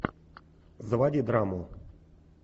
заводи драму